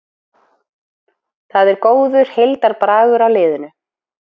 Það er góður heildarbragur á liðinu